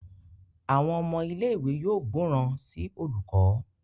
Àwọn ọmọ ilé ìwé yóò gbóròn sí olùkó.